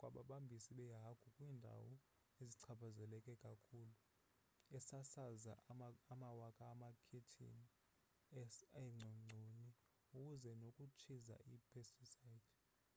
kwababambisi beehagu kwiindawo ezichaphazeleke kakhulu esasaza amawaka amakhethini eengcongconi kunye nokutshiza i-pesticides